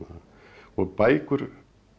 og bækur